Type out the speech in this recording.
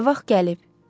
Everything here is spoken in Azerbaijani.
Nə vaxt gəlib?